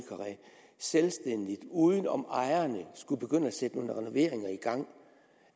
selvstændigt uden om ejerne at begynde at sætte nogle renoveringer i gang